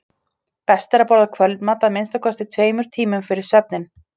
best er að borða kvöldmat að minnsta kosti tveimur tímum fyrir svefninn